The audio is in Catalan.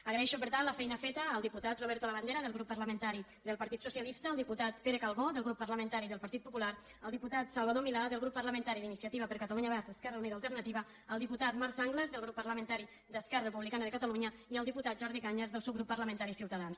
agraeixo per tant la feina feta al diputat roberto labandera del grup parlamentari del partit socialista al diputat pere calbó del grup parlamentari del partit popular al diputat salvador milà del grup parlamentari d’iniciativa per catalunya verds esquerra unida i alternativa al diputat marc sanglas del grup parlamentari d’esquerra republicana de catalunya i al diputat jordi cañas del subgrup parlamentari ciutadans